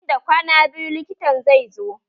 Nan da kwana biyu likitan zai zo